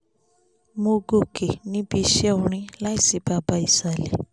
mo gòkè níbi iṣẹ́ orin láì ṣí baba ìsàlẹ̀